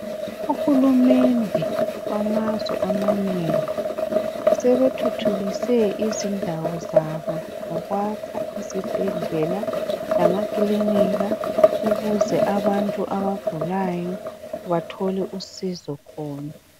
Ohulumende bamazwe amanengi sebethuthukise izindawo zabo ngokwakha uzibhedlela lamakilinika ukuze abantu abagulayo bathole usizo khona.